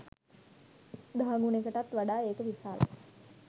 දහ ගුනෙකටත් වඩා ඒක විසාලයි